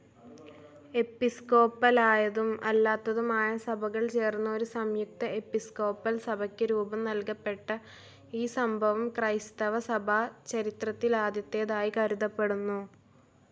എപ്പിസ്കോപ്പലായതും അല്ലാത്തതുമായ സഭകൾ ചേർന്ന് ഒരു സംയുക്ത എപ്പിസ്കോപ്പൽ സഭക്ക് രൂപം നൽകപ്പെട്ട ഈ സംഭവം ക്രൈസ്തവസഭാ ചരിത്രത്തിലാദ്യത്തേതായി കരുതപ്പെടുന്നു.